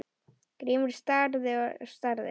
Grímur starir og starir.